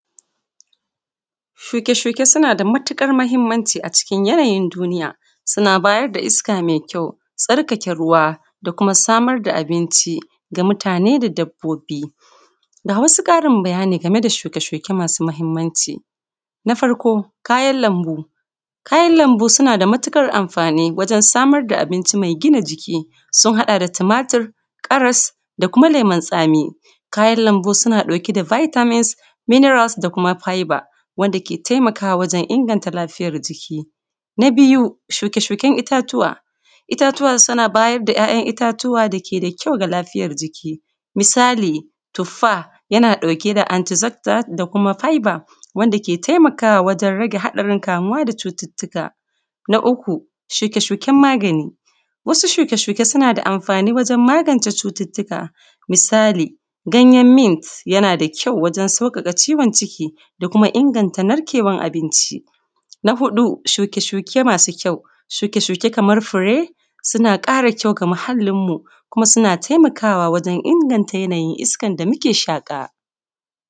Shuke-shuke suna da matuƙar mahimanci a cikin yanayin duniya, suna bayar da iska mai kyau, tsarkake ruwa, da kuma samar da abinci ga mutane da dabbobi. Ga wasu ƙarin bayani game da shuke-shuke masu mahimanci: Na farko, kayan lambu: Kayan lambu suna da matuƙar amfani wajen samar da abinci mai gina jiki. Sun haɗa da tomata, karas, da kuma lemun tsami. Kayan lambu suna ɗauke da biytamins, miniralas, da kuma fayba, wanda ke taimakawa wajen inganta lafiyar jiki. Na biyu, shuke-shuken itace: Itace suna ba da kayan itace dake da kyau ga lafiyar jiki. Misali, tuffa yana ɗauke da antizafza, da kuma fayba, wanda ke taimakawa wajen rage haɗarin kamuwa da cututtuka. Na uku, shuke-shuken magani: Wasu shuke-shuke suna da amfani wajen magance cututtuka. Misali, ganyen mint yana da ƙyau wajen sauƙaƙa ciwon ciki, da kuma inganta narƙewan abinci. Na huɗu, shuke-shuke masu kyau: Shuke-shuke kamar fure suna ƙara kyau ga muhallin mu, da kuma suna taimakawa wajen inganta yaayin iskan da mu ke shaƙa.